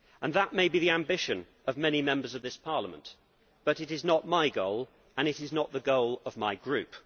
That may be the ambition of many Members of this Parliament, but it is not my goal and it is not the goal of my group.